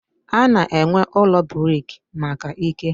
A na-ewu ụlọ brik maka ike.